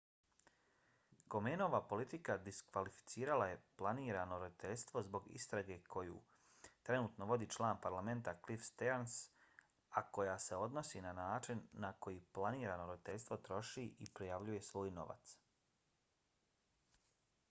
komenova politika diskvalificirala je planirano roditeljstvo zbog istrage koju trenutno vodi član parlamenta cliff stearns a koja se odnosi na način na koji planirano roditeljstvo troši i prijavljuje svoj novac